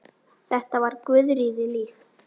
Þetta var Guðríði líkt.